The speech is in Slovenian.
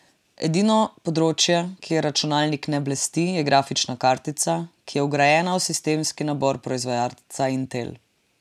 Edino področje, kjer računalnik ne blesti, je grafična kartica, ki je vgrajena v sistemski nabor proizvajalca Intel.